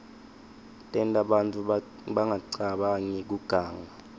tenta bantfu bangacabangi kuganga